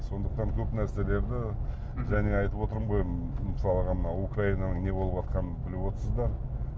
сондықтан көп нәрселерді және айтып отырмын ғой мысалға мына украинаның не болватқанын біліп отырсыздар